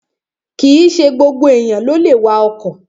Kìíse gbogbo èèyàn ló lè wa ọkọ̀